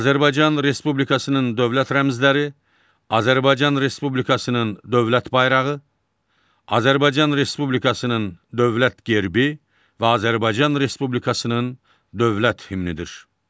Azərbaycan Respublikasının dövlət rəmzləri Azərbaycan Respublikasının dövlət bayrağı, Azərbaycan Respublikasının dövlət gerbi və Azərbaycan Respublikasının dövlət himnidir.